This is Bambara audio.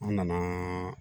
An nana